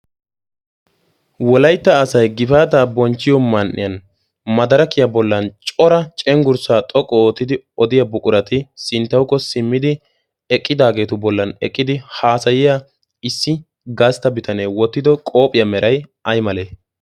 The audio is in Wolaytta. wolaytta asay gifaataa bonchchiyo man"iyan madarakiyaa bollan cora cenggurssaa xoqqu oottidi odiya buqurati sinttahukko simmidi eqqidaageetu bollan eqqidi haasayiya issi gaastta bitanee wottido qoopphiyaa meray aymale